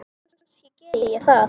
Kannski geri ég það.